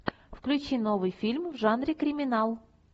включи новый фильм в жанре криминал